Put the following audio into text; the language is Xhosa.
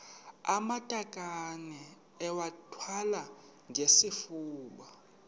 amatakane iwathwale ngesifuba